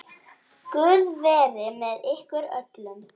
Guð veri með ykkur öllum.